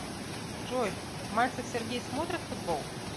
джой мальцев сергей смотрит футбол